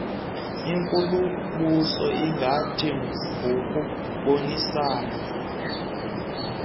inkulumbuso ingathi ngokubonisana